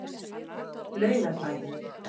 Laugarbæ